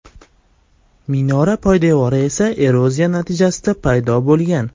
Minora poydevori esa eroziya natijasida paydo bo‘lgan.